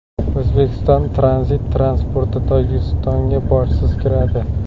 O‘zbekiston tranzit transporti Tojikistonga bojsiz kiradi.